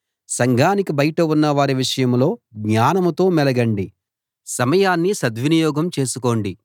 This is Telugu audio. సంఘానికి బయట ఉన్నవారి విషయంలో జ్ఞానంతో మెలగండి సమయాన్ని సద్వినియోగం చేసుకోండి